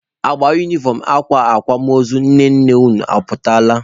Agba unifọm akwa akwamozu nne nna unu ọ pụtala?